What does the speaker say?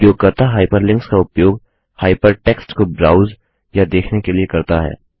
उपयोगकर्ता हाइपरलिंक्स का उपयोग हाइपरटेक्स्ट को ब्राउज या देखने के लिए करता है